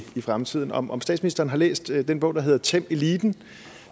i fremtiden om om statsministeren har læst den bog der hedder tæm eliten